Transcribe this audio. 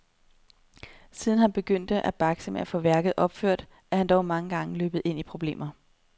Siden han begyndte at bakse med at få værket opført, er han dog mange gange løbet ind i problemer.